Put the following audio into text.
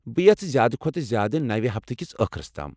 بہٕ یژھہٕ زیادٕ كھوتہٕ زیادٕ نَوِ ہفتہٕ کِس ٲخرَس تام۔